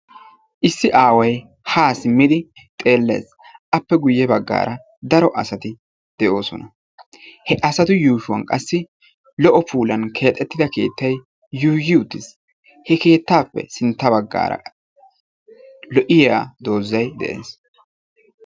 Issi aaway ha simmidi xeelles, appe guyye baggaara daro asati de'oosona. He asatu yuushshuwan qassi lo''o puulan keexxetida keetta yuuyyi uttiis. He keettappe sintta baggaara lo"iya doozay de'ees.